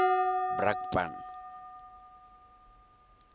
brakpan